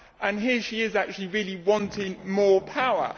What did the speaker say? And here she is in fact really wanting more power.